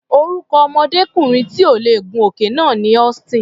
Orúkọ ọmọdékùnrin tí ò lè gun òkè náà ni Austin.